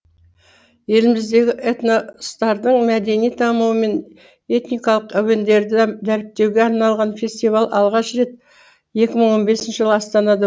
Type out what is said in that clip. еліміздегі этностардың мәдени дамуы мен этникалық әуендерді дәріптеуге арналған фестиваль алғаш рет екі мың он бесінші жылы астанада